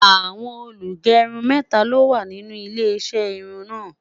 àwọn olugerun méta ló wà nínú ilé iṣé irún na